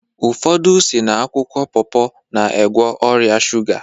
Ụfọdụ si n'akwụkwọ popo na-egwo ọrịa shuga